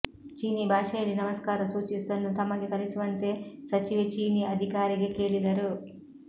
ಚೀನೀ ಭಾಷೆಯಲ್ಲಿ ನಮಸ್ಕಾರ ಸೂಚಿಸುವುದನ್ನು ತಮಗೆ ಕಲಿಸುವಂತೆ ಸಚಿವೆ ಚೀನೀ ಅಧಿಕಾರಿಗೆ ಕೇಳಿದರು